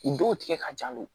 U dɔw tigɛ ka jan n'o ye